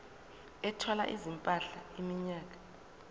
ethwala izimpahla iminyaka